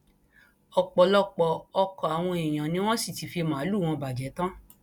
ọpọlọpọ ọkọ àwọn èèyàn ni wọn sì ti fi màálùú wọn bàjẹ tán